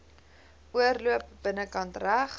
oorloop binnekant reg